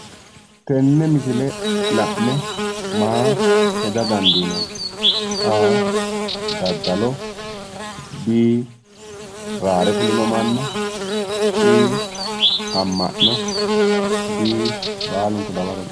Tini misile la'ne maa heda dandiinanni? a, daddalo b. raare fulino manna c. amma'no d. baalunku dawarote.